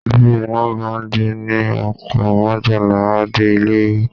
Bí iná bá jó ní oko, majala a dé ilé wí